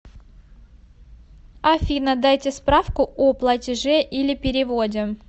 афина дайте справку о платеже или переводе